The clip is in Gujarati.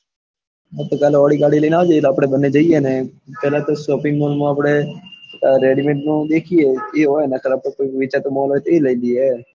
હા તો કાલે ઓડી ગાડી લઇ ને આવજે તો આપડે બને જઈએ અને તરત જ shopping mall માં આપડે ready made નું દેખિએ એ હોય નકર પછી એ હોય તો એ લઇ લઇયે